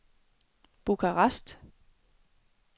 Bukarest